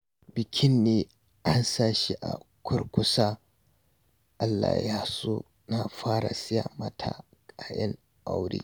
Bikin ne an sa shi a kurkusa, Allah ya so na fara saya mata kayan aure